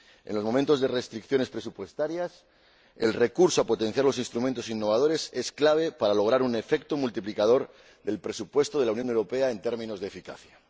En los momentos de restricciones presupuestarias, el recurso al fomento de instrumentos innovadores es clave para lograr un efecto multiplicador del presupuesto de la Unión Europea en términos de eficacia.